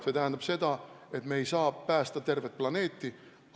See tähendab seda, et me ei saa päästa tervet planeeti.